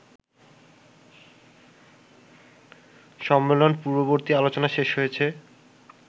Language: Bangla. সম্মেলন পূর্ববর্তী আলোচনা শেষ হয়েছে